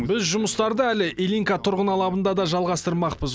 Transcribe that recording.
біз жұмыстарды әлі ильинка тұрғын алабында да жалғастырмақпыз